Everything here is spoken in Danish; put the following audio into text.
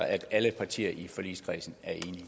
at alle partier i forligskredsen